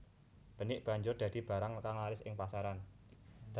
Benik banjur dadi barang kang laris ing pasaran